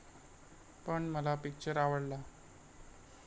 पण मला पिक्चर आवडला.